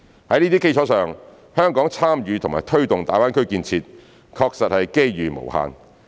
在這些基礎上，香港參與及推動大灣區建設，確實是機遇無限。